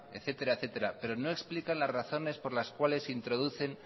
etcétera etcétera pero no explican las razones por las cuales introducen